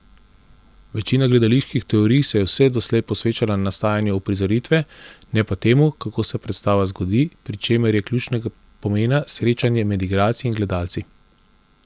Večina gledaliških teorij se je vse doslej posvečala nastajanju uprizoritve, ne pa temu, kako se predstava zgodi, pri čemer je ključnega pomena srečanje med igralci in gledalci.